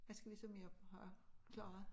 Hvad skal vi så mere have klaret